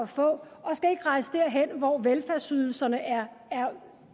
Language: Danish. få og skal ikke rejse derhen hvor velfærdsydelserne er